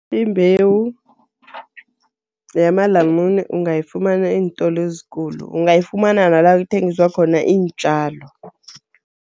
Imbewu yamalamune ungayifumana eentolo ezikulu. Ungayifumana nala kuthengiswa khona iintjalo.